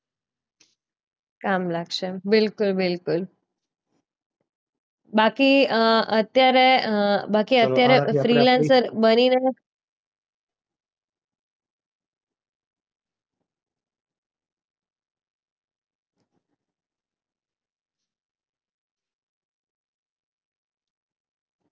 કામ લાગશે બિલકુલ બિલકુલ. બાકી અમ અત્યારે અ બાકી અત્યારે ફ્રીલેન્સર બનીને